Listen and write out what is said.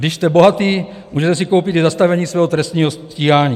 Když jste bohatý, můžete si koupit i zastavení svého trestního stíhání.